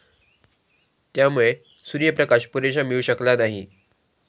त्यामुळे सूर्यप्रकाश पुरेसा मिळू शकला नाही.